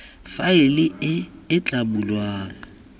faele e e tla bulwang